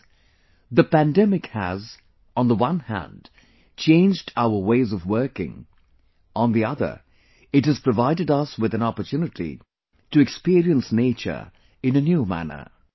Friends, the pandemic has on the one hand changed our ways of working; on the other it has provided us with an opportunity to experience nature in a new manner